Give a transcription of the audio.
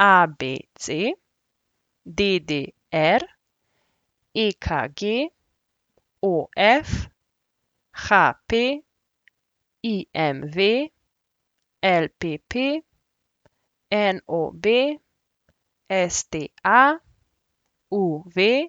ABC, DDR, EKG, OF, HP, IMV, LPP, NOB, STA, UV,